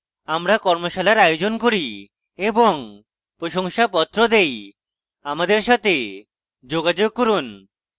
আমরা কর্মশালার আয়োজন করি এবং প্রশংসাপত্র দেই আমাদের সাথে যোগাযোগ করুন